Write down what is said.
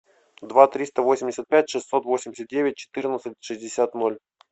два триста восемьдесят пять шестьсот восемьдесят девять четырнадцать шестьдесят ноль